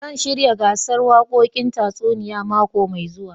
Zan shirya gasar wakokin tasunia mako mai zuwa.